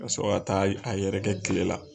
Ka sɔrɔ a taa a yɛrɛkɛ tile la.